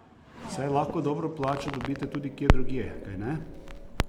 Saj lahko dobro plačo dobite tudi kje drugje, kajne?